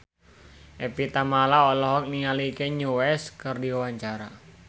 Evie Tamala olohok ningali Kanye West keur diwawancara